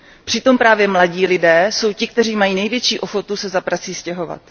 Přitom právě mladí lidé jsou ti, kteří mají největší ochotu se za prací stěhovat.